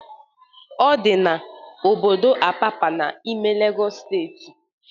Ọ dị n':obodo Apapa n'ime Legọs steeti